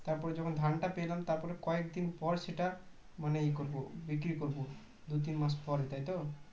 তার পর যখন ধানটা পেলাম তারপর কয়েকদিন পর সেটা মানে ই করবো বিক্রি করব দুই তিন মাস পরে তাইতো